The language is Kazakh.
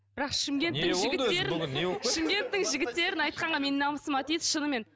бірақ шымкенттің жігіттерін шымкенттің жігіттерін айтқанға менің намысыма тиеді шынымен